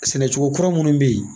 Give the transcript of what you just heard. Sɛnɛcogo kura minnu bɛ yen.